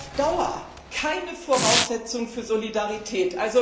Das ist auf Dauer keine Voraussetzung für Solidarität.